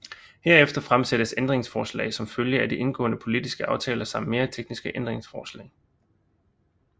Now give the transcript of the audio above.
Herefter fremsættes ændringsforslag som følge af de indgåede politiske aftaler samt mere tekniske ændringsforslag